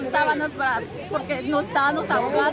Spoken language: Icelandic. að bana